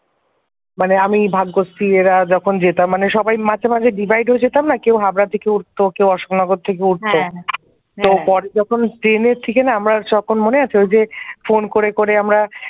মানে আমি ভাগ্যশ্রী এরা যখন যেতাম মানে সবই মাঝে মাঝে divide হয়ে যেতম না কেউ হাওড়া থেকে উঠতো কেউ অশোকনগর থেকে উঠতো তো পরে যখন ট্রেনে ফিরে না আমরা তখন মনে আছে ফোন করে করে আমরা ।